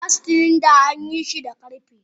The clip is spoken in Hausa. Gas cylinders an yi su da karfe.